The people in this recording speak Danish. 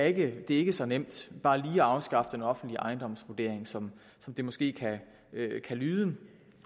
ikke er så nemt bare lige at afskaffe den offentlige ejendomsvurdering som det måske kan lyde